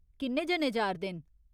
किन्ने जने जा'रदे न ?